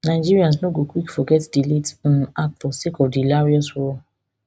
nigerians no go quick forget di late um actor sake of di hilarious role